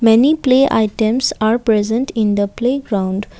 many play items are present in the playground.